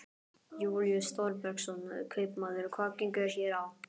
Júlíus Þorbergsson, kaupmaður: Hvað gengur hér á?